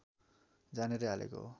जानेरै हालेको हो